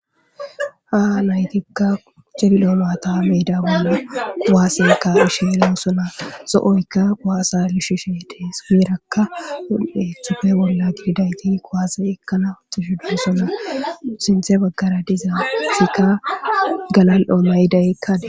Ha naytikka celiloo mata me'ida baana kuwaasekka ishe ellosona zo'oykka quwaasa lishu she dees girakka un'eethufe bolla gididayti kowaase ekkala ottushu dussona sintze baggara dizaatikka galal7oomaydaykkade